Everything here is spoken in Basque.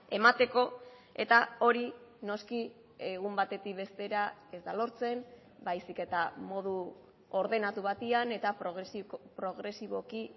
emateko eta hori noski egun batetik bestera ez da lortzen baizik eta modu ordenatu batean eta progresiboki